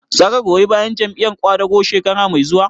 Za ka goyi bayan Jam'iyar ƙwadago shekara mai zuwa?